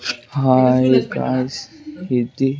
hi guys ఇది--